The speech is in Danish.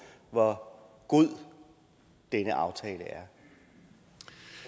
hvor god denne aftale